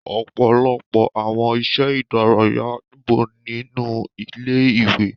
Ọ̀pọ̀lọpọ̀ àwọn iṣẹ́ ìdárayá nibo wa nínú ilé ìwé.